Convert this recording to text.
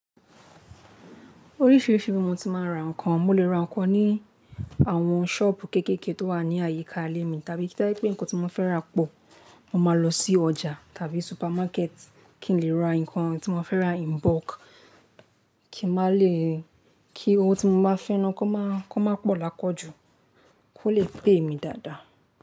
Oríṣiríṣi ibi mo ti máa ń ra ǹkan. Mo lè ra ǹkan ní àwọn sọ́ọ̀bù kéékèèké tó wà ní àyíká ilé mi. Tàbí tó bá jẹ́ pé ǹkan tí mo fẹ́ rà pọ̀, mo máa lọ sí ọjà tàbí supermarket kí n lè ra ǹkan tí mo fẹ́ rà in bulk. Kí má lè, kí ohun tí owó tí mo bá fẹ́ náà kó má, kó má pọ̀ lapo ju, kó lè pè mí dáadáa.